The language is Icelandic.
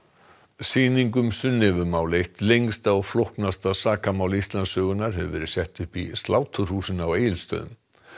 sýning um Sunnefumál eitt lengsta og flóknasta sakamál Íslandssögunnar hefur verið sett upp í sláturhúsinu á Egilsstöðum